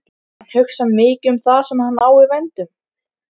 Hann hugsar mikið um það sem hann á í vændum.